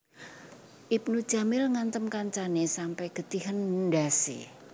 Ibnu Jamil ngantem kancane sampe getihen ndhas e